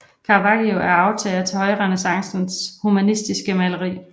Caravaggio er arvtager til højrenæssancens humanistiske maleri